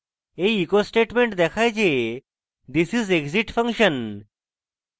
এই echo statement দেখায় যে this is exit function